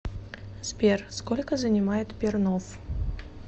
сбер сколько занимает пернов